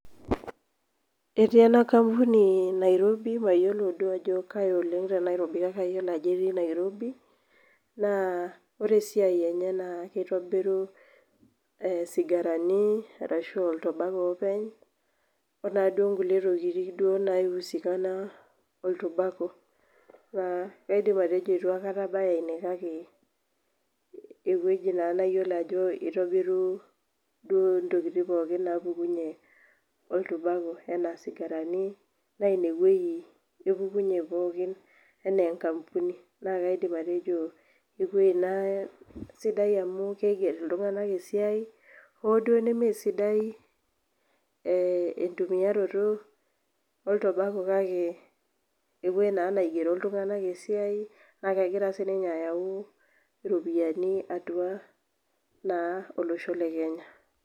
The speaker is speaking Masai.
Etii ena kampuni nairobi, mayiolo duo oleng ajo kaji kake etii nairobi, naa ore esiai enye naa keitobiru sigarani arashu, oltabaco openy, okulie tokitin anaa duo naaji, naisikana oltabaco, naa kaidim atejo eitu aikata abaya ine kaake ewueji naa nayiolo ajo itobiri, duo ntokitin pookin naapukunye oltubako anaa sigarani, naa ine wueji epukunye pookin anaa, enkampuni. naa kaidim atejo ewueji naa sidai amu keiger iltunganak esiai, hoo duo nemesidai, entumiaroto, oltobako kake,, ewueji naigero iltunganak esiai naa kegira sii ninye ayau, iropiyiani atua naa olosho le Kenya.